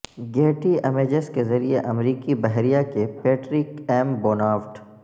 Getty Images کے ذریعہ امریکی بحریہ کے پیٹرک ایم بونافڈ